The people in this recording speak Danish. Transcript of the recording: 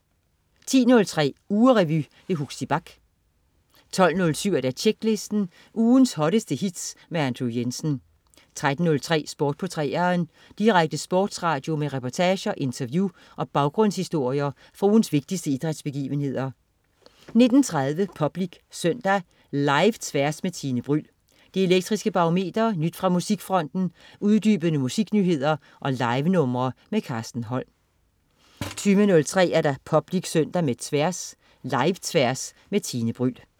10.03 Ugerevy. Huxi Bach 12.07 Tjeklisten. Ugens hotteste hits med Andrew Jensen 13.03 Sport på 3'eren. Direkte sportsradio med reportager, interview og baggrundshistorier fra ugens vigtigste idrætsbegivenheder 19.30 Public Søndag. Live-Tværs med Tine Bryld, Det Elektriske Barometer, nyt fra musikfronten, uddybende musiknyheder og livenumre. Carsten Holm 20.03 Public Søndag med Tværs. Live-Tværs med Tine Bryld